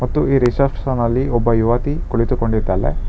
ಮತ್ತು ಈ ರಿಸೆಪ್ಶನ್ ನಲ್ಲಿ ಒಬ್ಬ ಯುವತಿ ಕುಳಿತುಕೊಂಡಿದ್ದಾಳೆ.